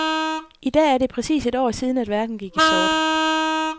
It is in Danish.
I dag er det præcis et år siden, at verden gik i sort.